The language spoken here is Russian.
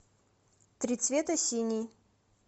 три цвета синий